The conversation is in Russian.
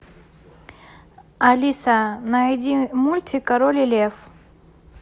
алиса найди мультик король и лев